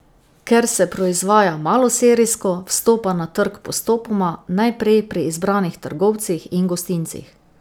Ker se proizvaja maloserijsko, vstopa na trg postopoma, najprej pri izbranih trgovcih in gostincih.